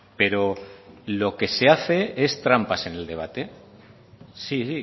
pero lo que se hace es trampas en el debate sí